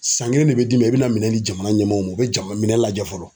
San kelen de bɛ d'i ma i bɛna minɛn di jamana ɲɛmaaw ma u bɛ jama minɛn lajɛ fɔlɔ.